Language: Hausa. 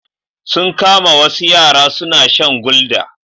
Sun kama wasu yara suna shan gulder.